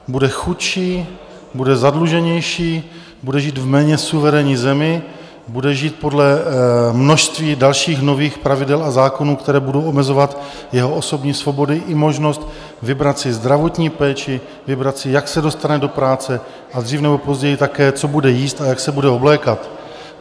Bude chudší, bude zadluženější, bude žít v méně suverénní zemi, bude žít podle množství dalších nových pravidel a zákonů, které budou omezovat jeho osobní svobody i možnost vybrat si zdravotní péči, vybrat si, jak se dostane do práce a dřív nebo později také co bude jíst a jak se bude oblékat.